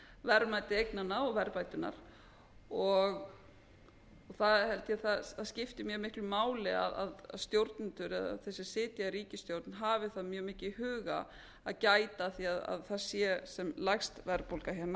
verðmæti eignanna og verðbæturnar þá held ég að það skipti mjög miklu máli að stjórnendur eða þeir sem sitja í ríkisstjórn hafi það mjög mikið i huga að gæta að því að það sé sem lægst verðbólga hérna